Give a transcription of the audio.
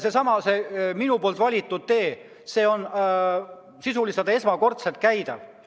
Seesama minu valitud tee on sisuliselt esmakordselt käidav.